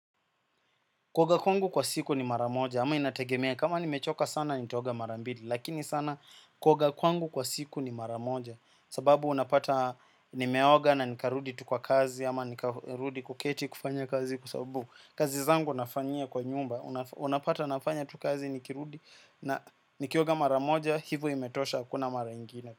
Kuoga kwangu kwa siku ni mara moja ama inategemea kama nimechoka sana nitaoga mara mbili. Lakini sana kuoga kwangu kwa siku ni mara moja, sababu unapata nimeoga na nikarudi tu kwa kazi ama nikarudi kuketi kufanya kazi kwa sababu kazi zangu nafanyia kwa nyumba. Unapata nafanya tu kazi nikirudi na nikioga mara moja hivo imetosha hakuna mara ingine.